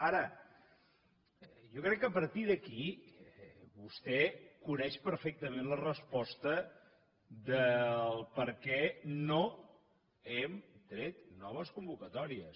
ara jo crec que a partir d’aquí vostè coneix perfectament la resposta per què no hem tret noves convocatòries